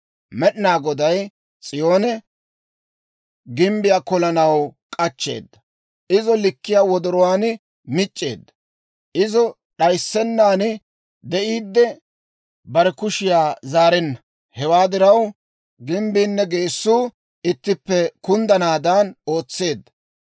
Med'inaa Goday S'iyoon gimbbiyaa kolanaw k'achcheeda; izo likkiyaa wodoruwaa mic'c'eedda; izo d'ayissennan de'iiddi, bare kushiyaa zaarenna. Hewaa diraw, gimbbiinne geessuu ittippe kunddanaadan ootseedda.